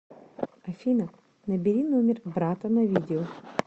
афина набери номер брата на видео